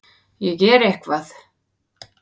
Ég geri eitthvað.